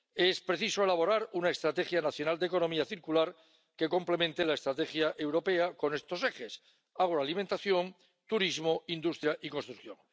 Es preciso elaborar una estrategia nacional de economía circular que complemente la estrategia europea con estos ejes agroalimentación, turismo, industria y construcción.